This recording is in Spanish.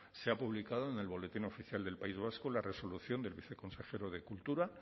se ha publicado en el boletín oficial del país vasco la resolución del viceconsejero de cultura